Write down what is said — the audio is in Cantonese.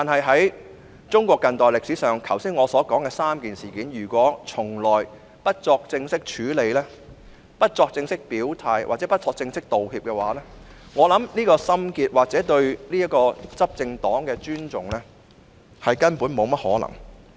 在中國近代歷史上，對於我剛才所述的3件事件，如果一直不作正式處理、不作正式表態或不作正式道歉，我相信這心結無法解開，或說對執政黨抱有尊重是根本沒可能的。